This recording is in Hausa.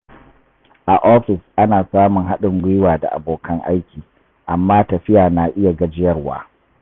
A ofis, ana samun haɗin gwiwa da abokan aiki, amma tafiya na iya gajiyarwa.